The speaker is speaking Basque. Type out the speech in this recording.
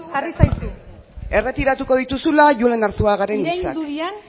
erretiratuko dituzula julen arzuagaren hitzak iraindu diren